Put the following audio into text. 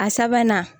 A sabanan